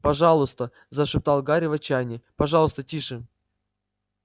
пожалуйста зашептал гарри в отчаянии пожалуйста тише